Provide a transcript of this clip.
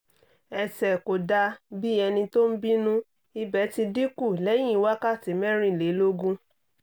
ẹ̀sẹ̀ kò dà bí ẹni tó ń bínú ìbẹ̀ ti dín kù lẹ́yìn wákàtí mẹ́rìnlélógún